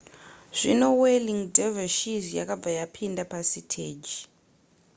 zvino whirling dervishes yakabva yapinda pasiteji